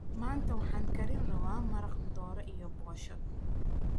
maanta waxaan kari rawaa maraaq doroo iyo boshaa.